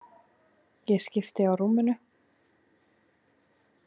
Ég skipti á rúminu.